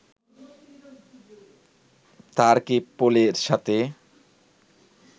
তারকে পোলের সাথে